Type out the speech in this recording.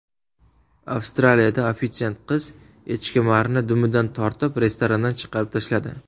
Avstraliyada ofitsiant qiz echkemarni dumidan tortib restorandan chiqarib tashladi.